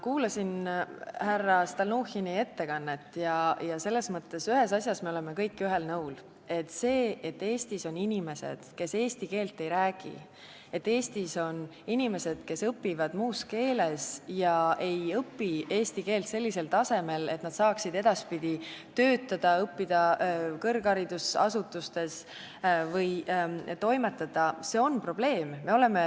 Kuulasin härra Stalnuhhini ettekannet ja selles mõttes ühes asjas me oleme kõik ühel nõul: see, et Eestis on inimesed, kes eesti keelt ei räägi, et Eestis on inimesed, kes õpivad muus keeles ega õpi eesti keelt sellisel tasemel, et nad saaksid edaspidi töötada, õppida kõrgharidusasutustes või toimetada, on probleem.